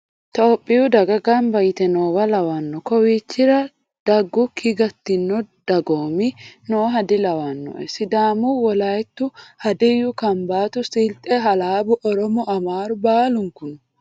Tophiyu daga gamba yite noowa lawano kawichira daggukki gatino dagoomi nooha dilawinoe sidaamu woliyatu hadiyu kambatu silxe halabbu oromo amaru baallunku no.